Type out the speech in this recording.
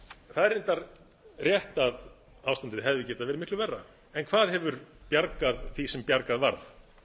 það er reyndar rétt að ástandið hefði getað verið miklu verra en hvað hefur bjargað því sem bjargað varð